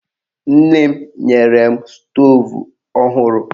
Nne m nyere m stoovu ọhụrụ.